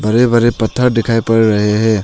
बड़े बड़े पत्थर दिखाई पड़ रहे हैं।